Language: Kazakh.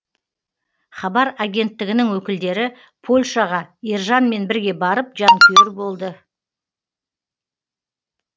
хабар агенттігінің өкілдері польшаға ержанмен бірге барып жанкүйер болды